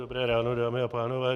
Dobré ráno, dámy a pánové.